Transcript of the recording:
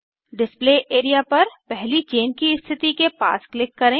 display area पर पहली chain की स्थिति के पास क्लिक करें